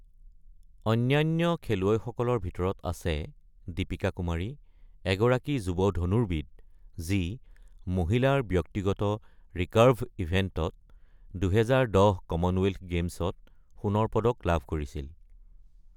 অন্যান্য খেলুৱৈসকলৰ ভিতৰত আছে দীপিকা কুমাৰী, এগৰাকী যুৱ ধনুৰ্বিদ যি মহিলাৰ ব্যক্তিগত ৰিকাৰ্ভ ইভেণ্টত ২০১০ কমনৱেলথ গেমছত সোণৰ পদক লাভ কৰিছিল।